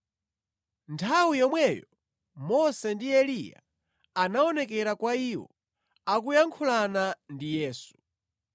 Nthawi yomweyo Mose ndi Eliya anaonekera kwa iwo akuyankhulana ndi Yesu.